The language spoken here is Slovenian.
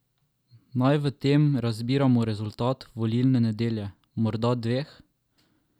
Naj v tem razbiramo rezultat volilne nedelje, morda dveh?